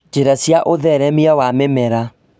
Njĩra cia ũtheremia wa mĩmera